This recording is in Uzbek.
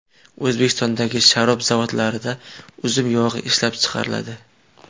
O‘zbekistondagi sharob zavodlarida uzum yog‘i ishlab chiqariladi.